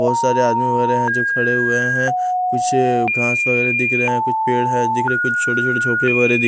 बहोत सारे आदमी वगैरा हैं जो खड़े हुए हैं पीछे घांस वगैरा दिख रहे हैं कुछ पेड़ हैं दिख रहे कुछ छोटे छोटे झोपड़े वगैरा दिख--